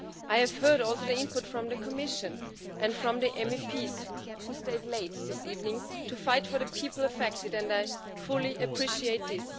I have heard also the input from the Commission and from the MEPs who stayed late this evening to fight for the people affected, and I fully appreciate this.